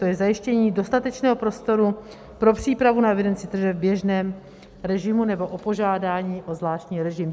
To je zajištění dostatečného prostoru pro přípravu na evidenci tržeb v běžném režimu nebo o požádání o zvláštní režim.